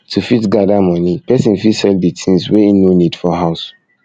to fit gather money person fit sell di things wey im no need for house